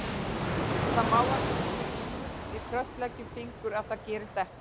Það má alls ekki frysta, við krossleggjum fingur að það gerist ekki.